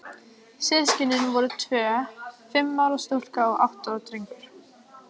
Systkinin voru tvö, fimm ára stúlka og átta ára drengur.